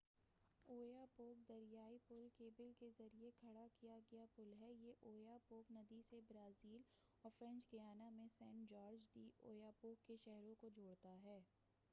Oyapock دریائی پُل cable کے ذریعہ کھڑا کیا گیا پُل ہے یہ اویاپوک ندی سے برازیل اور فرینچ گیانا میں سینٹ جارج ڈی اویاپوک کے شہروں کو جوڑتا ہے